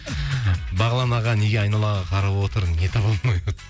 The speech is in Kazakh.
бағлан аға неге айналаға қарап отыр не таба алмай